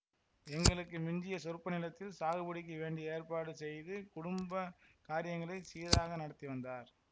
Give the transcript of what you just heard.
எங்களுக்கு மிஞ்சிய சொற்ப நிலத்தில் சாகுபடிக்கு வேண்டிய ஏற்பாடு செய்து குடும்ப காரியங்களை சீராக நடத்தி வந்தார்